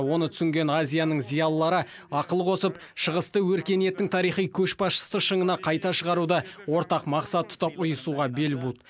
оны түсінген азияның зиялылары ақыл қосып шығысты өркениеттің тарихи көшбасшысы шыңына қайта шығаруды ортақ мақсат тұтап ұйысуға бел буды